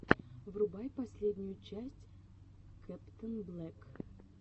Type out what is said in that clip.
врубай последнюю часть кэптэнблэк